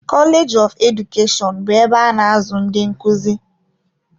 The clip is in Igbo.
Koleeji of Edukeshọn bụ ebe a na-azụ ndị nkuzi.